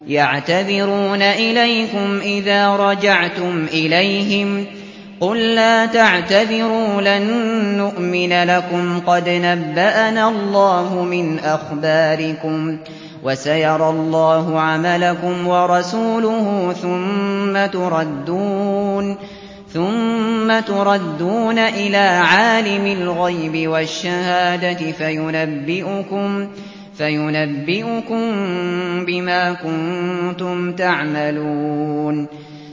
يَعْتَذِرُونَ إِلَيْكُمْ إِذَا رَجَعْتُمْ إِلَيْهِمْ ۚ قُل لَّا تَعْتَذِرُوا لَن نُّؤْمِنَ لَكُمْ قَدْ نَبَّأَنَا اللَّهُ مِنْ أَخْبَارِكُمْ ۚ وَسَيَرَى اللَّهُ عَمَلَكُمْ وَرَسُولُهُ ثُمَّ تُرَدُّونَ إِلَىٰ عَالِمِ الْغَيْبِ وَالشَّهَادَةِ فَيُنَبِّئُكُم بِمَا كُنتُمْ تَعْمَلُونَ